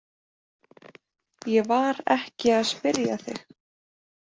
Ég var ekki að spyrja þig.